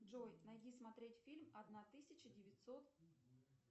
джой найди смотреть фильм одна тысяча девятьсот